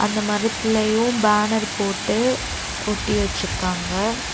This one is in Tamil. அந்த மரத்லயு பேனர் போட்டு ஒட்டி வெச்சுருக்காங்க.